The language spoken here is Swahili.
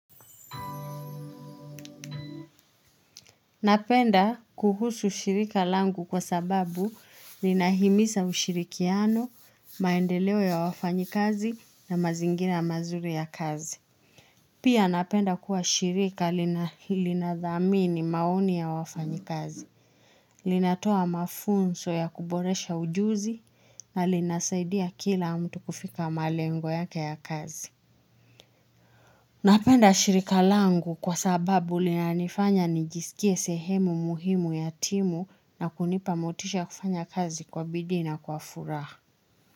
Napenda kuhusu shirika langu kwa sababu linahimisa ushirikiano, maendeleo ya wafanyi kazi na mazingina mazuri ya kazi. Pia napenda kuwa shirika linadhamini maoni ya wafanyi kazi, linatoa mafunso ya kuboresha ujuzi na linasaidia kila mtu kufika malengo yake ya kazi. Napenda shirika langu kwa sababu lina nifanya nijisikie sehemu muhimu ya timu na kunipa motisha kufanya kazi kwa bidi na kwa furaha.